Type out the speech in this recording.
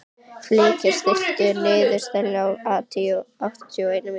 Fylkir, stilltu niðurteljara á áttatíu og eina mínútur.